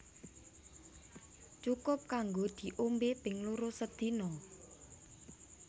Cukup kanggo diombé ping loro sedina